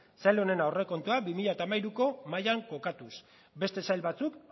sail honen aurrekontuak bi mila hamairuko mailan kokatuz beste sail batzuk